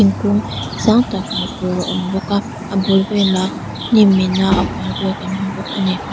thingkung sang tak hmuh tur a awm bawk a a bul velah hnimin a hual vel kan hmu bawk a ni.